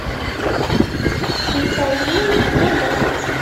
включай фильм неудачница